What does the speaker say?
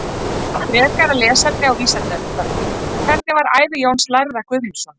Frekara lesefni á Vísindavefnum: Hvernig var ævi Jóns lærða Guðmundssonar?